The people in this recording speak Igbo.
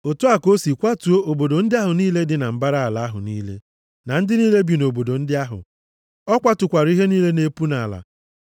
Otu a ka o si kwatuo obodo ndị ahụ niile dị na mbara ala ahụ niile, na ndị niile bi nʼobodo ndị ahụ. O kwatukwara ihe niile na-epu nʼala.